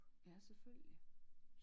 Ja selvfølgelig